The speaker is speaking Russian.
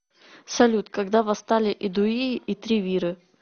салют когда восстали эдуи и тревиры